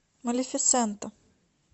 малефисента